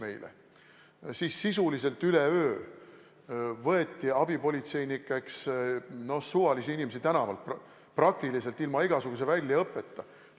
Siis võeti sisuliselt üleöö abipolitseinikeks suvalisi inimesi tänavalt, praktiliselt ilma igasuguse väljaõppeta.